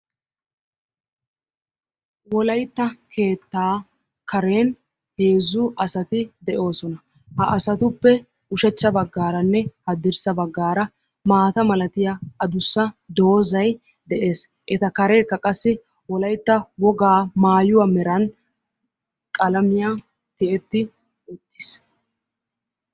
Wolaytta keettaa karen heezzu asati de'oosona. ha asatuppe ushshachcha baggaranne hadirssa baggaara maata malatiyaa adussa doozay de'ees eta kareekka wolaytta wogaa maayuwaa meran qalamiyaan tiyetti uttiis.